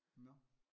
Nåh